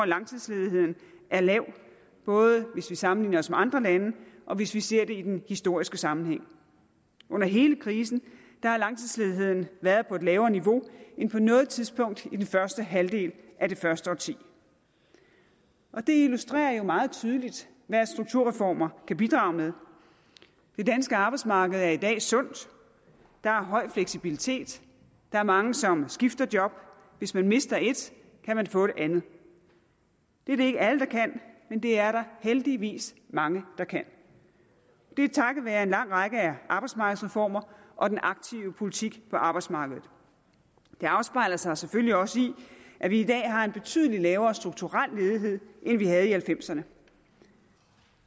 langtidsledigheden er lav både hvis vi sammenligner os med andre lande og hvis vi ser det i den historiske sammenhæng under hele krisen har langtidsledigheden været på et lavere niveau end på noget tidspunkt i den første halvdel af det første årti det illustrerer jo meget tydeligt hvad strukturreformer kan bidrage med det danske arbejdsmarked er i dag sundt der er høj fleksibilitet der er mange som skifter job hvis man mister et kan man få et andet det er det ikke alle der kan men det er der heldigvis mange der kan det er takket være en lang række af arbejdsmarkedsreformer og den aktive politik på arbejdsmarkedet det afspejler sig selvfølgelig også i at vi i dag har en betydelig lavere strukturel ledighed end vi havde i nitten halvfemserne